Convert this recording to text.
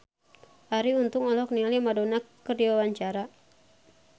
Arie Untung olohok ningali Madonna keur diwawancara